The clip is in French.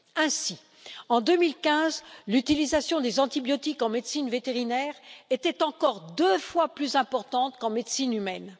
Ainsi, en 2015, l'utilisation des antibiotiques en médecine vétérinaire était encore deux fois plus importante qu'en médecine humaine.